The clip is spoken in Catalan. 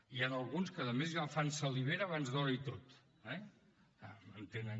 hi han alguns que a més ja fan salivera abans d’hora i tot eh ja entenen